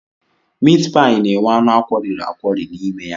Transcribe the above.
Mitpaị na-enwe anụ akwọriri akwọri n'ime ya.